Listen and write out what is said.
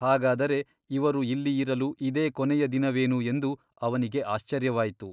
ಹಾಗಾದರೆ ಇವರು ಇಲ್ಲಿ ಇರಲು ಇದೇ ಕೊನೆಯ ದಿನವೇನು ಎಂದು ಅವನಿಗೆ ಆಶ್ಚರ್ಯವಾಯಿತು.